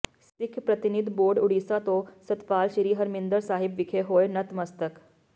ਸਿੱਖ ਪ੍ਰਤੀਨਿਧ ਬੋਰਡ ਉੜੀਸਾ ਤੋਂ ਸਤਪਾਲ ਸਿੰਘ ਸ੍ਰੀ ਹਰਿਮੰਦਰ ਸਾਹਿਬ ਵਿਖੇ ਹੋਏ ਨਤਮਸਤਕ